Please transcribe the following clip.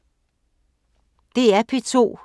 DR P2